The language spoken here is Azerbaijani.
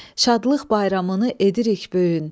Şadlıq bayramını edirik böyün.